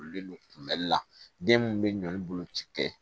Kululen don kunbɛli la den mun bɛ ɲɔ bolo ci kɛ